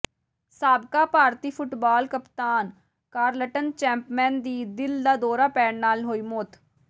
ਸਾਬਕਾ ਭਾਰਤੀ ਫੁੱਟਬਾਲ ਕਪਤਾਨ ਕਾਰਲਟਨ ਚੈਪਮੈਨ ਦੀ ਦਿਲ ਦਾ ਦੌਰਾ ਪੈਣ ਨਾਲ ਹੋਈ ਮੌਤ